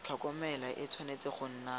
tlhokomelo e tshwanetse go nna